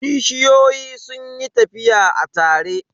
Kishiyoyin sun yi tafiya a tare.